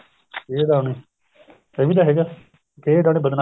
ਖ਼ੇਹ ਉੱਡਾਣੀ ਇਹ ਵੀ ਤਾਂ ਹੈਗਾ ਖ਼ੇਹ ਉੱਡਾਣੀ